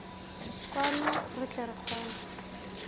kwano re tle re kgone